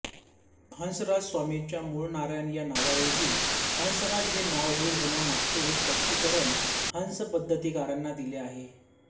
हंसराजस्वामींच्या मूळ नारायण या नावाऐवजी हंसराज हे नाव रूढ होण्यामागचे हे स्पष्टीकरण हंसपद्धतिकारांनी दिले आहे